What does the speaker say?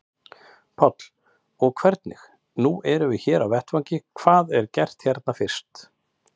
Páll: Og hvernig, nú erum við hér á vettvangi, hvað er gert hérna fyrst?